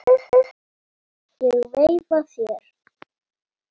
Ég veifa þér.